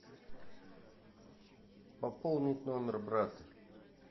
пополнить номер брата